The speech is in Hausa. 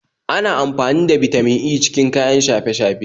Ana amfani da Bitamin E cikin kayan shafe-shafe